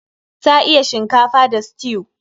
Ta iya shinkafa da stew.